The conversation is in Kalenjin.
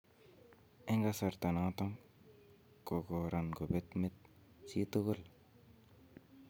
"En kasaroton ko koran kobet met chitugul."